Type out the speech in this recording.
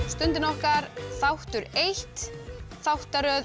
stundin okkar þáttur eins þáttaröð